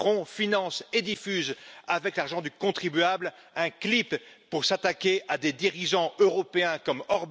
Macron finance et diffuse, avec l'argent du contribuable, un clip pour s'attaquer à des dirigeants européens, comme MM.